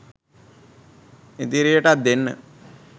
ඉදිරියටත් දෙන්න